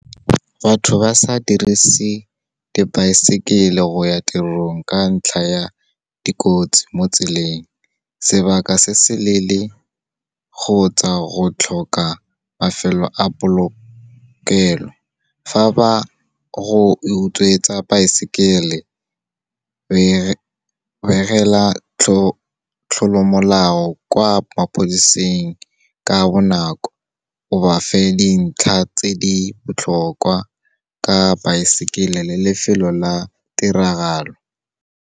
Batho ba sa dirise dibaesekele go ya tirong ka ntlha ya dikotsi mo tseleng, sebaka se se leele kgotsa go tlhoka mafelo a polokelo. Fa ba go utswetsa baesekele, we begela tlolomolao kwa mapodiseng ka bonako, o ba fe dintlha tse di botlhokwa ka baesekele le lefelo la tiragalo.